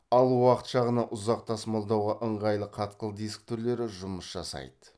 ал уақыт жағынан ұзақ тасымалдауға ыңғайлы қатқыл диск түрлері жұмыс жасайды